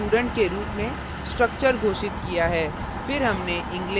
यहाँ हमने student के रूप में structure घोषित किया है